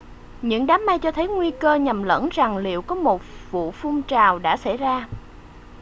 những đám mây cho thấy nguy cơ nhầm lẫn rằng liệu có một vu phun trào đã xảy ra